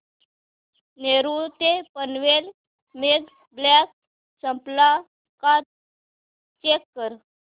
नेरूळ ते Panvel mega block संपला का चेक कर